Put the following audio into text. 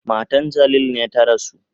Matan Jalil ne ta rasu.